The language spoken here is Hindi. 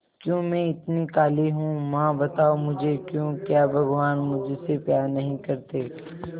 क्यों मैं इतनी काली हूं मां बताओ मुझे क्यों क्या भगवान मुझसे प्यार नहीं करते